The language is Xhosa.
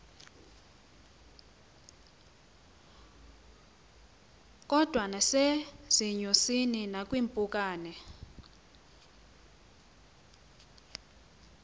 kodwa nasezinyosini nakwiimpukane